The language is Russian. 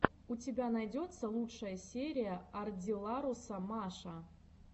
у тебя найдется лучшая серия ардилларуса маша